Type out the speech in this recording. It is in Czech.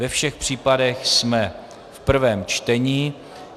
Ve všech případech jsme v prvém čtení.